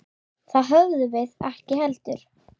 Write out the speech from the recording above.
Það höfðum við ekki heldur.